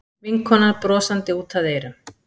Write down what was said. Vinkonan brosandi út að eyrum.